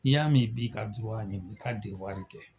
I y'a mɛ i b'i ka dura ɲini i ka dewari kɛ